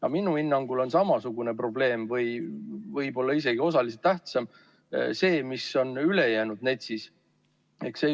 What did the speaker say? Aga minu hinnangul on samasugune probleem või võib-olla isegi osaliselt tähtsam see, mis on ülejäänud NETS-is.